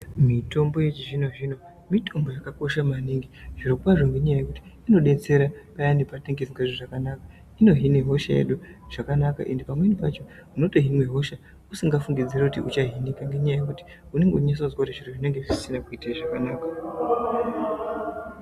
Mitombo yechizvino zvino mitombo yakakosha maningi zviro kwazvo yekuti inodetsera paya patinenge tisingsnzwi zvakanaka ine hina hosha yedu zvakana ande pamweni pacho une hina hosha zvausinga fungiri kuti uchahinika ngenyaua yekuti unenge ichizwa kuti zvinhu zvinemge zvisingakuitiri zvakanaka.